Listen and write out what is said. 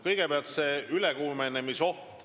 Kõigepealt sellest ülekuumenemisohust.